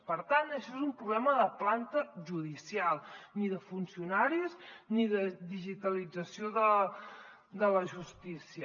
per tant això és un problema de planta judicial ni de funcionaris ni de digitalització de la justícia